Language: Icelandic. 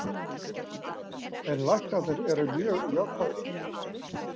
En læknarnir eru mjög jákvæðir.